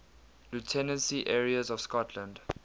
lieutenancy areas of scotland